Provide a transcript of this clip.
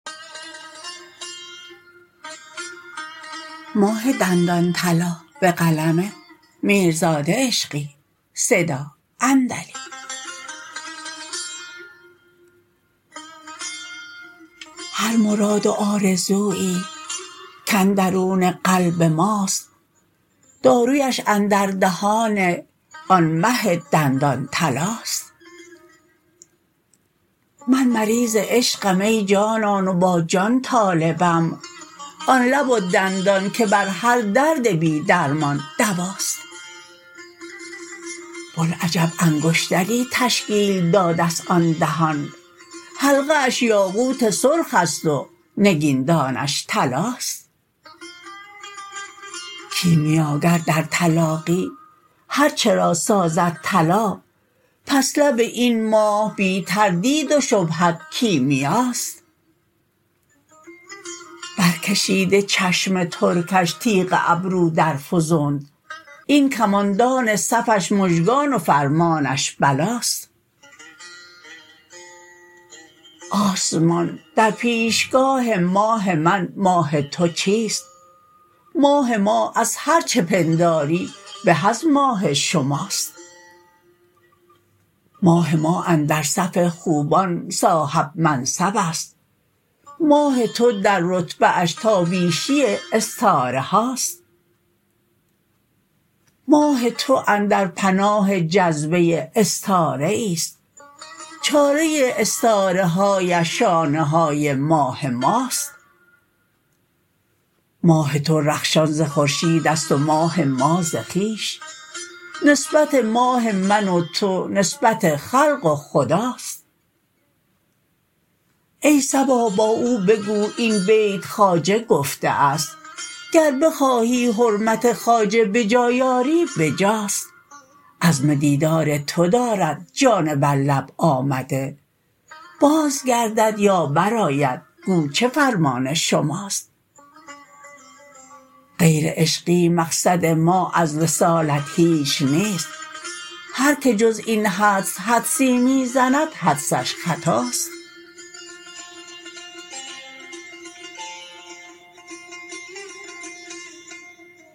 هر مراد و آرزویی کاندرون قلب ماست دارویش اندر دهان آن مه دندان طلاست من مریض عشقم ای جانان و با جان طالبم آن لب و دندان که بر هر درد بی درمان دواست بوالعجب انگشتری تشکیل دادست آن دهان حلقه اش یاقوت سرخ است و نگیندانش طلاست کیمیاگر در تلاقی هرچه را سازد طلا پس لب این ماه بی تردید و شبهت کیمیاست برکشیده چشم ترکش تیغ ابرو در فرونت این کماندان صفش مژگان و فرمانش بلاست آسمان در پیشگاه ماه من ماه تو چیست ماه ما از هرچه پنداری به از ماه شماست ماه ما اندر صف خوبان صاحب منصب است ماه تو در رتبه اش تا بینی استاره هاست ماه تو اندر پناه جذبه استاره ای ست چاره استاره هایش شانه های ماه ماست ماه تو رخشان ز خورشیدست و ماه ما ز خویش نسبت ماه من و تو نسبت خلق و خداست ای صبا با او بگو این بیت خواجه گفته است گر بخواهی حرمت خواجه به جای آری به جاست عزم دیدار تو دارد جان بر لب آمده بازگردد یا برآید گو چه فرمان شماست غیر عشقی مقصد ما از وصالت هیچ نیست هرکه جز این حدس حدسی می زند حدسش خطاست